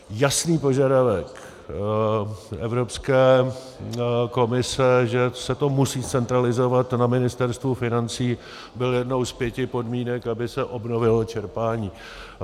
Jasný požadavek Evropské komise, že se to musí zcentralizovat na Ministerstvu financí, byl jednou z pěti podmínek, aby se obnovilo čerpání.